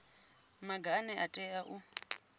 maga ane a tea u